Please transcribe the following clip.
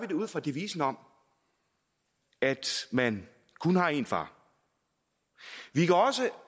det ud fra devisen om at man kun har én far vi kan